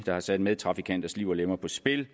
der har sat medtrafikanters liv og lemmer på spil